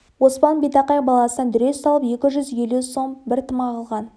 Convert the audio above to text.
оспан битақай баласына дүре салып екі жүз елу сом бір тымақ алған